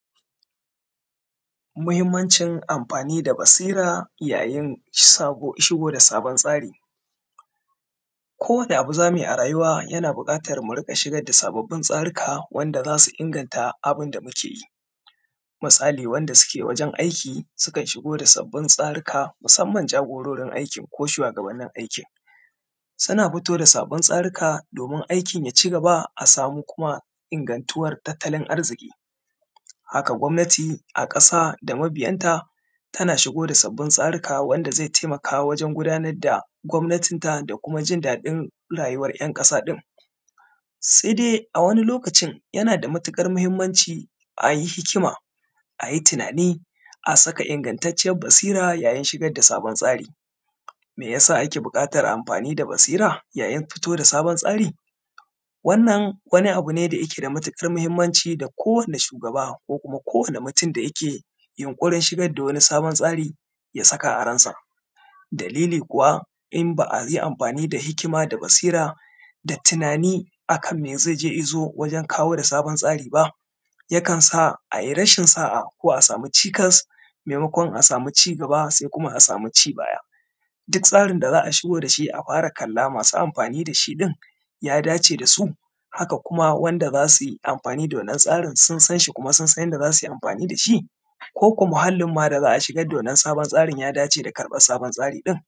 Mahimmancin amfani da basira yayin shigo da sabon tsari. Ko wani abu za mu yi a rayuwa yana buƙatar mu riga shigar da sababbin tsarika wanda zasu inganta abun da muke yi, misali wanda suke wajan aiki sukan shigo da sabin tsarika musamman jagororin aiki ko shuwagabannin aikin, suna fito da sabbin tsaruka domin aikin ya ci gaba a samu kuma ingantuwar tattalin arziki, haka gwamnati a kasa da ambiyan ta tana shigo da sabbin tsarika wanda zai taimaka wajan gudanar da gwamatin ta da kuma jin daɗin rayuwar ƴan kasa ɗin, sai dai a wani lokacin yana da matuƙar mahimmanci a yi hikima, a yi tunani a saka ingantacciyan basira yayin shigar da sabon tsari. Me ya sa ake buƙantan amfani da basira yayin pito da sabon tsari? wannan wani abu ne da yake da matuƙar mahimmanci da kowani shugaba ko kuma ko wani mutun da yake yunkurin shigar da wani sabon tsari ya saka a ransa, dalili kuwa in ba a yi amfani da hikima da basira da tunani a kan me ze je ya zo wajan kawo da sabon tsari ba, ya kansa a yi rashin sa’a ko a samu cikas maimakon a sami ci gaba sai kuma a samu ci baya, duk tsarin da za a shigo da shi a para kalla masu amfani da shi ɗin, ya dace da su, haka kuma wanda za su yi amfani da wannan tsarin sun san shi kuma sun san yanda za su yi amfani da shi koko muhallin ma da za a shigar da wannan sabon tsarin ya dace da karɓan sabon tsari ɗin.